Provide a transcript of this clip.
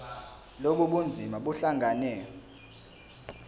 lobu bunzima buhlangane